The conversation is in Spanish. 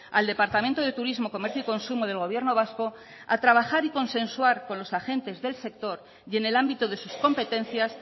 al departamento de turismo comercio y consumo del gobierno vasco a trabajar y consensuar con los agentes del sector y en el ámbito de sus competencias